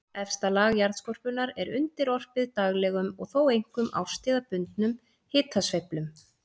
Efsta lag jarðskorpunnar er undirorpið daglegum og þó einkum árstíðabundnum hitasveiflum.